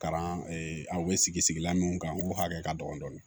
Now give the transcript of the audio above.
Kalan a bɛ sigi sigilan mun kan n ko hakɛ ka dɔgɔn dɔɔni